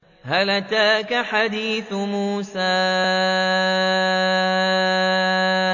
هَلْ أَتَاكَ حَدِيثُ مُوسَىٰ